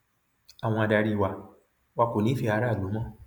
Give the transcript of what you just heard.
àwọn adarí wa wa kò nífẹẹ aráàlú mọ